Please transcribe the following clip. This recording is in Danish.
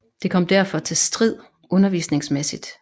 Det kom derfor til strid undervisningsmæssigt